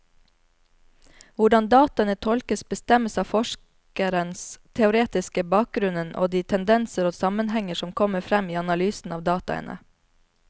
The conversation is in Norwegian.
Hvordan dataene tolkes, bestemmes av forskerens teoretiske bakgrunnen og de tendenser og sammenhenger som kommer frem i analysen av dataene.